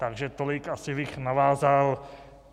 Takže tolik asi bych navázal.